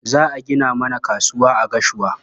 Za a gina mana kasuwa a Gashua.